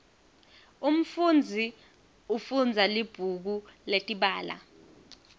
umfunzi ufundza libhuku letibalo